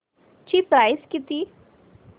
ची प्राइस किती